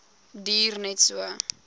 duur net so